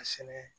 A sɛnɛ